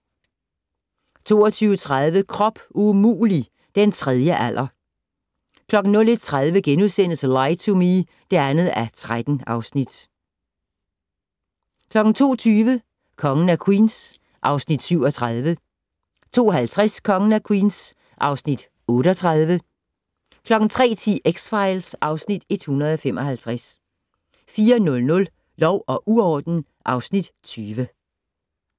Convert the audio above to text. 22:30: Krop umulig - den tredje alder 01:30: Lie to Me (2:13)* 02:20: Kongen af Queens (Afs. 37) 02:50: Kongen af Queens (Afs. 38) 03:10: X-Files (Afs. 155) 04:00: Lov og uorden (Afs. 20)